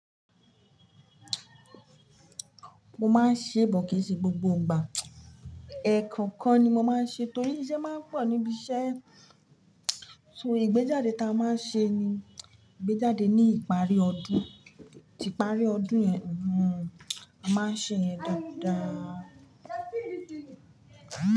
Mo máa ń ṣe bọ̀ kìi ṣe gbogbo n gbà. Ẹ̀ẹ̀kan kan ni mo máa ń ṣe torí iṣẹ́ máa ń pọ̀ níbi iṣẹ́. So ìgbéjáde ta a máa ń ṣe ni ìgbéjáde ní ìparí ọdún. Ti iparí ọdún yẹn, hmm, a máa ṣe yẹ̀n dáadáa.